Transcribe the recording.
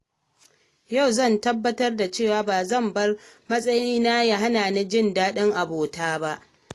Yau zan tabbatar da cewa ba zan bar matsayi na ya hana ni jin daɗin abota ta ba.